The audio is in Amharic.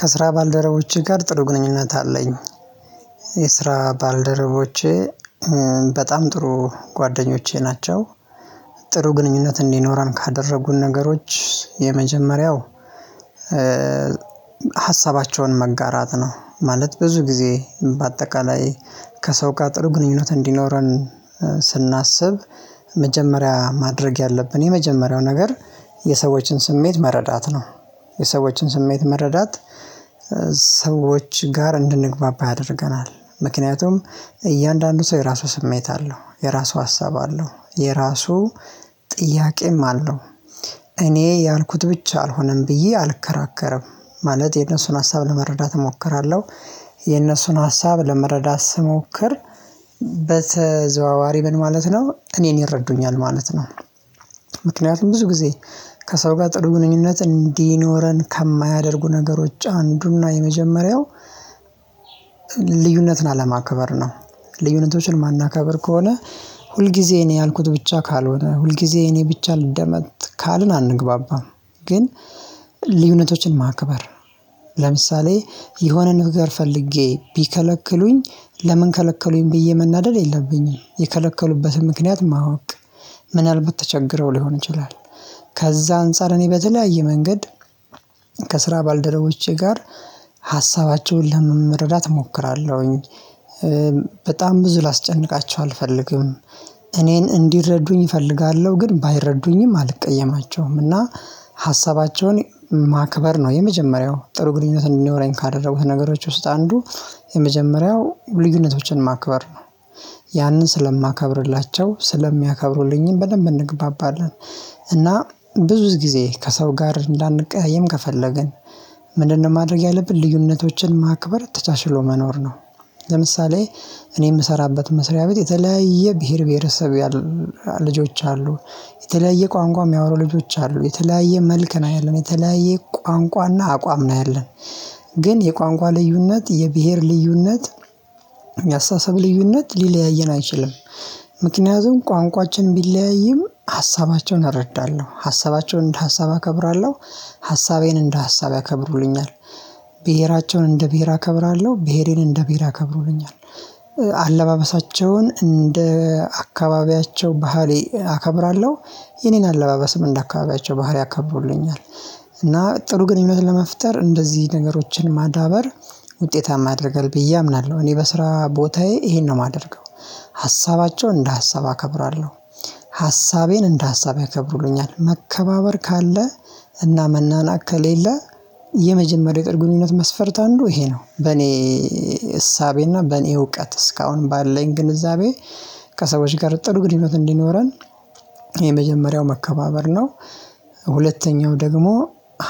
ከስራ ባልደረቦቼ ጋር ጥሩ ግንኙነት አለኝ። የስራ ባልደረቦቼ በጣም ጥሩ ጓደኞቼ ናቸው። ጥሩ ግንኙነት እንዲኖረን ካደረጉን ነገሮች የመጀመሪያው ሀሳባቸውን መጋራት ነው። ማለት ብዙ ጊዜ በአጠቃላይ ከሰው ጋር ጥሩ ግንኙነት እንዲኖረን ስናስብ መጀመሪያ ማድረግ ያለብን የመጀመሪያው ነገር የሰዎችን ስሜት መረዳት ነው። የሰዎችን ስሜት መረዳት ሰዎች ጋር እንድንግባባ ያደርገናል። ምክንያቱም እያንዳንዱ ሰው የራሱ ስሜት አለው የራሱ ሀሳብ አለው የራሱ ጥያቄም አለው። እኔ ያልኩት ብቻ አልሆነም ብዬ አልከራከረም ማለት የነሱን ሀሳብ ለመረዳት እሞክራለሁ። የነሱን ሀሳብ ለመረዳት ስሞክር በተዘዋዋሪ ምን ማለት ነው እኔን ይረዱኛል ማለት ነው። ምክንያቱም ብዙ ጊዜ ከሰው ጋር ጥሩ ግንኙነት እንዲኖረን ከማያደርጉ ነገሮች አንዱና የመጀመሪያው ልዩነትን አለማከበር ነው። ልዩነቶችን ማናከብር ከሆነ ሁልጊዜ እኔ ያልኩት ብቻ ካልሆነ ሁልጊዜ እኔ ብቻ ልደመጥ ካልን አንግባባም። ግን ልዩነቶችን ማክበር ለምሳሌ የሆነ ነገር ፈልጌ ቢከለክሉኝ ለምን ከለከሉኝ ብዬ መናደድ የለብኝም። የከለከሉበትን ምክንያት ማወቅ ምን አልባት ተቸግረው ሊሆን ይችላል። ከዛ አንፃር እኔ በተለያየ መንገድ ከስራ ባልደረቦቼ ጋር ሀሳባቸውን ለመረዳት እሞክራለሁኝ። በጣም ብዙ ላስጨንቃቸው አልፈልግም። እኔን እንዲረዱኝ እፈልጋለሁ ግን ባይረዱኝም አልቀየማቸውምና ሀሳባቸውን ማክበር ነው የመጀመሪያው ጥሩ ግንኙነት እንዲኖረኝ ካደረጉት ነገሮች ውስጥ አንዱ የመጀመሪያው ልዩነቶችን ማክበር ነው። ያንን ስለማከብርላቸው ስለሚያከብሩልኝም በደንብ እንገባባለን። እና ብዙ ጊዜ ከሰው ጋር እንዳንቀያየም ከፈለግን ምንድነው ማድረግ ያለብን ልዩነቶችን ማክበር ተቻችሎ መኖር ነው። ለምሳሌ እኔ የምሰራበት መስሪያ ቤት የተለያየ ብሄር ብሄረሰብ ያሉ ልጆች አሉ። የተለያየ ቋንቋ የሚያወሩ ልጆች አሉ የተለያየ መልክ ነው ያለን የተለያየ ቋንቋና አቋም ነው ያለን። ግን የቋንቋ ልዩነት የብሄር ልዩነት የያስተሳስብ ልዩነት ሊለያይን አይችልም። ምክንያቱም ቋንቋችን ቢለያይም ሀሳባቸውን እረዳለሁ ሀሳባቸውን እንደ ሀሳብ አከብራለሁ። ሀሳቤን እንደ ሀሳብ ያከብሩልኛል። ብሄራቸውን እንደ ብሄር አከብራለሁ ብሄሬን እንደ ብሄር አከብሩልኛል። አለባበሳቸውን እንደ አካባቢያቸው ባህሪ አከብራለሁ። የኔን አለባበስም እንደ አካባቢያቸው ባህሪ ያከብሩልኛል። እና ጥሩ ግንኙነት ለመፍጠር እንደዚህ ነገሮችን ማዳበር ውጤታማ ያደርጋል ብዬ አምናለሁ። እኔ በስራ ቦታዬ ይሄን ነው የማደርገው። ሀሳባቸው እንደ ሀሳብ አከብራለሁ። ሀሳቤን እንደ ሀሳብ ያከብሩልኛል መከባበር ካለ እና መናናቅ ከሌለ የመጀመሪያው ጥሩ ግንኙነት መስፈርት አንዱ ይሄ ነው። በኔ እሳቤና በኔ እውቀት እስካሁንም ባለኝ ግንዛቤ ከሰዎች ጋር ጥሩ ግንኙነት እንዲኖረን የመጀመሪያው መከባበር ነው። ሁለተኛው ደግሞ